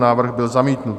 Návrh byl zamítnut.